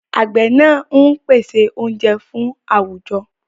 Àgbẹ̀ náà ń pèsè oúnjẹ fún àwùjọ.